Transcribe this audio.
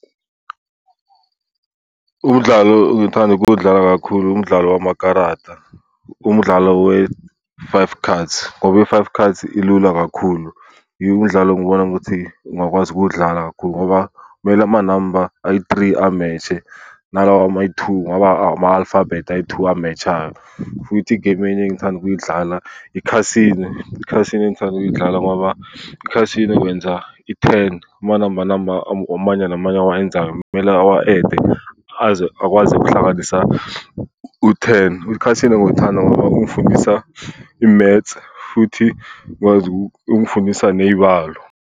Umdlalo engithanda ukuwudlala kakhulu wumdlalo wamakarata, umdlalo we-five cards, ngoba i-five cards ilula kakhulu. Yiwo mdlalo engibona ukuthi ngingakwazi ukuwudlala kakhulu ngoba kumele amanamba ayi-three a-match-e, nalawa amayi-two, ngaba ama-alphabet ayi-two a-match-ayo. Futhi igemu enye engithanda ukuyidlala i-casino. I-casino engithanda ukuyidlala ngoba i-casino wenza i-ten. Amanamba namba amanye namanye awayenzayo kumele awa-add-e aze akwazi ukuhlanganisa u-ten. U-casino ngiwuthanda ngoba ungifundisa i-maths, futhi ngikwazi , ungifundisa ney'balo.